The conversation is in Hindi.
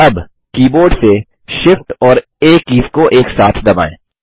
अब कीबोर्ड से SHIFT और आ कीज़ को एक साथ दबाएँ